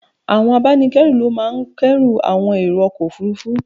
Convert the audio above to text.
Àwọn abánikẹ́rù ló máa ń k'ẹ́rù àwọn èrò ọkọ̀ Òfurufú.